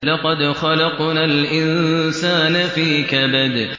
لَقَدْ خَلَقْنَا الْإِنسَانَ فِي كَبَدٍ